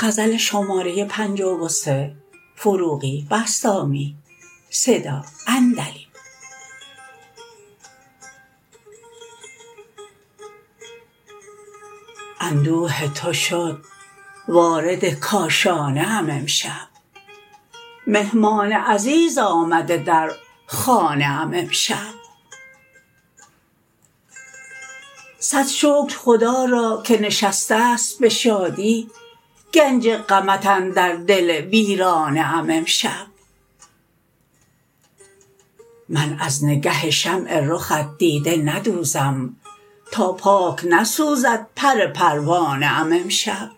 اندوه تو شد وارد کاشانه ام امشب مهمان عزیز آمده در خانه ام امشب صد شکر خدا را که نشسته ست به شادی گنج غمت اندر دل ویرانه ام امشب من از نگه شمع رخت دیده ندوزم تا پاک نسوزد پر پروانه ام امشب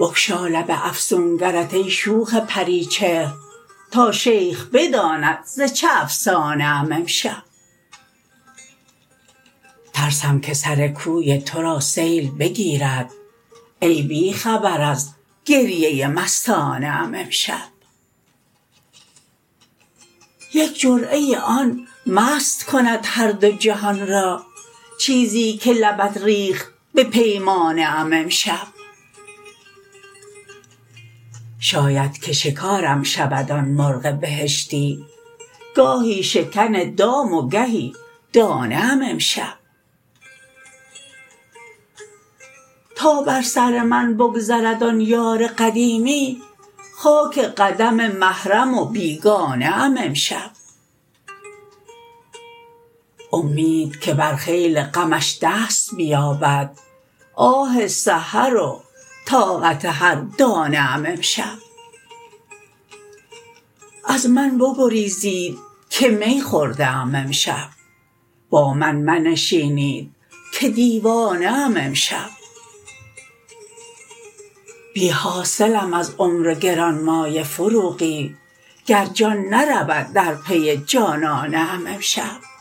بگشا لب افسونگرت ای شوخ پری چهر تا شیخ بداند ز چه افسانه ام امشب ترسم که سر کوی تو را سیل بگیرد ای بی خبر از گریه مستانه ام امشب یک جرعه آن مست کند هر دو جهان را چیزی که لبت ریخت به پیمانه ام امشب شاید که شکارم شود آن مرغ بهشتی گاهی شکن دام و گهی دانه ام امشب تا بر سر من بگذرد آن یار قدیمی خاک قدم محرم و بیگانه ام امشب امید که بر خیل غمش دست بیابد آه سحر و طاقت هر دانه ام امشب از من بگریزید که می خورده ام امشب با من منشینید که دیوانه ام امشب بی حاصلم از عمر گرانمایه فروغی گر جان نرود در پی جانانه ام امشب